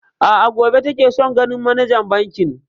A'a, gobe take son ganin manajan bankin.